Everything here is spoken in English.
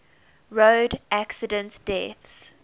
road accident deaths